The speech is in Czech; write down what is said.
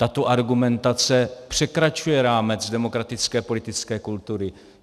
Tato argumentace překračuje rámec demokratické politické kultury.